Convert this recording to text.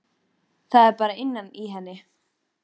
Það er bara innan í henni.